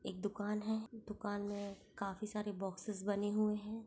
एक दुकान हैं दुकान में काफी सारे बॉक्सेस बने हुऐ हैं।